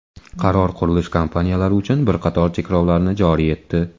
Qaror qurilish kompaniyalari uchun bir qator cheklovlarni joriy etdi.